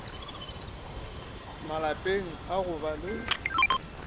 malapeng a go ba le